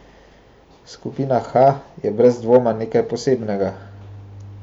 Skupina H je brez dvoma nekaj posebnega.